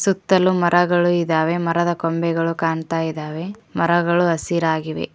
ಸುತ್ತಲು ಮರಗಳು ಇದಾವೆ ಮರದ ಕೊಂಬೆಗಳು ಕಾಣ್ತಾ ಇದಾವೆ ಮರಗಳು ಹಸಿರಾಗಿವೆ.